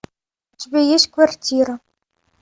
у тебя есть квартира